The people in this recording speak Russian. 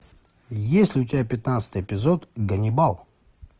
есть ли у тебя пятнадцатый эпизод ганнибал